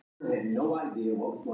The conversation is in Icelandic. Tilbúnir að eyða í áramótin